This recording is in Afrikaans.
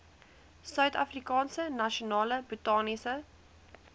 suidafrikaanse nasionale botaniese